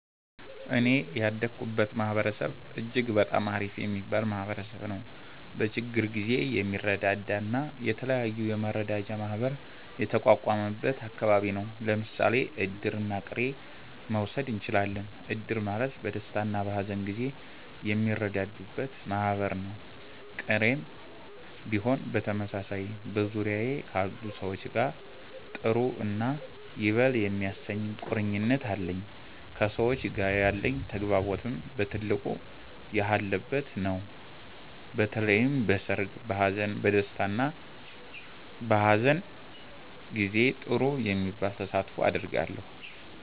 እኔ ያደኩበት ማህበረሰብ እጅግ በጣም አሪፍ የሚባል ማህበረሰብ ነዉ። በችግር ጊዜ የሚረዳዳ እና የተለያዩ የመረዳጃ ማህበር የተቋቋመበት አከባቢ ነው። ለምሳሌ እድርና ቅሬን መዉሰድ እችላለን። እድር ማለት በደስታና በሀዘን ጊዜ የሚረዳዱበት ማህበር ነው፤ ቅሬም ቢሆን በተመሳሳይ። በዙሪያዬ ካሉ ሰዎች ጋር ጥሩ እና ይበል የሚያሰኝ ቁርኝት አለኝ። ከሰዎች ጋር ያለኝ ተግባቦትም በ ትልቁ የጎለበተ ነው። በተለይም በሰርግ፣ በሃዘን፣ በ ደስታ እና በሃዘን ጊዜ ጥሩ የሚባል ተሳትፎ አደርጋለሁ።